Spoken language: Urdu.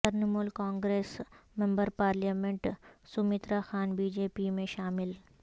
Trinamool Congress member parliament Saumitra Khan B J P میں شامل